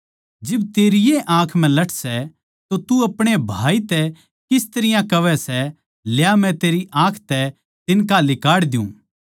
जिब तेरी ए आँख म्ह लठ सै तो तू अपणे भाई तै किस तरियां कहवै सै ल्या मै तेरी आँख तै तिन्का लिकाड़ द्यु